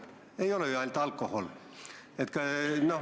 Kahjulik ei ole ju ainult alkohol.